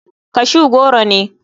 Cashew goro ne.